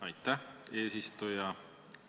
Aitäh, eesistuja!